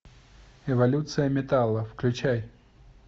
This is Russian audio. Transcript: эволюция металла включай